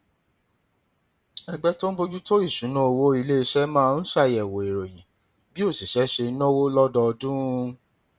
ẹgbẹ tó ń bójú tó ìṣúnná owó ilé iṣẹ máa ń ṣàyẹwò ìròyìn bí òṣìṣẹ ṣe ń náwó lọdọọdún